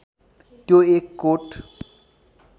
त्यो एक कोट